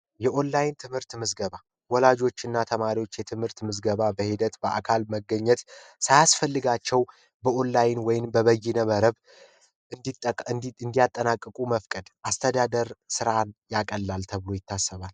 የኦንላይን ትምህርት ምዝገባ ወላጆችና ተማሪዎች የትምህርት ምዝገባ በሂደት በአካል መገኘት ሳያስፈልጋቸው እንዲጠቀም እንዴት እንዲያጠናቀቁ መፍቀድ አስተዳደር ያቀላል ተብሎ ይታሰባል